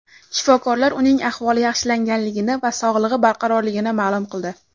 Shifokorlar uning ahvoli yaxshilanganligini va sog‘lig‘i barqarorligini ma’lum qildi.